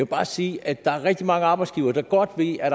bare sige at der er rigtig mange arbejdsgivere der godt ved at